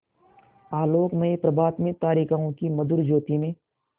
आलोकमय प्रभात में तारिकाओं की मधुर ज्योति में